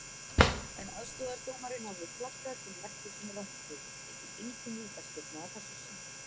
En aðstoðardómarinn hafði flaggað til merkis um rangstöðu og því engin vítaspyrna að þessu sinni.